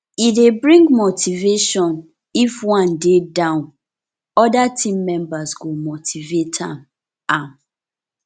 e de bring motivation if one de down other team members go motivate am am